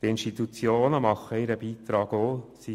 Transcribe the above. Die Institutionen leisten ihren Beitrag ebenfalls.